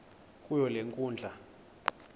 kuyo le nkundla